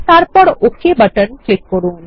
তারপর OK button click করুন